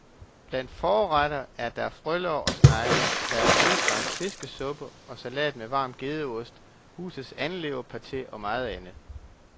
Blandt forretter er der frølår og snegle, der er sydfransk fiskesuppe og salat med varm gedeost, husets andeleverpate og meget andet.